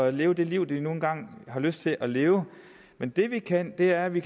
at leve det liv de nu engang har lyst til at leve men det vi kan er at vi